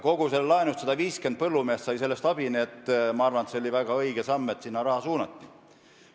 Kogu sellest laenust sai abi 150 põllumeest, nii et ma arvan, et see oli väga õige samm, et raha sinna suunati.